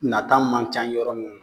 Nata man ca yɔrɔ minnu na